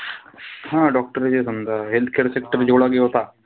हा doctor जे समजा healthcare sector जेवढा बी होता,